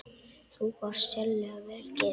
Þú varst sérlega vel gefin.